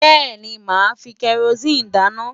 Bẹ́ẹ̀ni, màá fi kẹrosíìnì dáná.